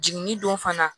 Jiginni don fana